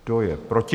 Kdo je proti?